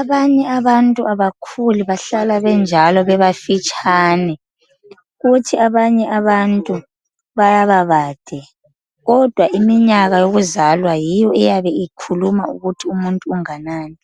Abanye abantu abakhuli bahlala benjalo bebafitshane. Kuthi abanye abantu bayababade kodwa iminyaka yokuzalwa yiyo eyabe ikhuluma ukuthi umuntu unganani.